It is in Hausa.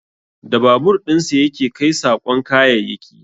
Da babur dinsa ya ke kai saƙon kayayyaki